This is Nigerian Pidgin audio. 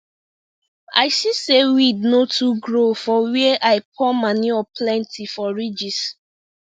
i see say weed no too grow for where i pour manure plenty for ridges